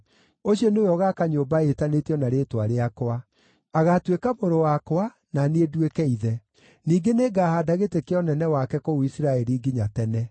Ũcio nĩwe ũgaaka nyũmba ĩtanĩtio na Rĩĩtwa rĩakwa. Agaatuĩka mũrũ wakwa, na niĩ nduĩke ithe. Ningĩ nĩngahaanda gĩtĩ kĩa ũnene wake kũu Isiraeli nginya tene.’